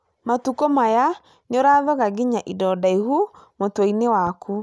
Matukũ maya nĩ ũrathoga nginya indo ndaihu mutwiini-inĩ waku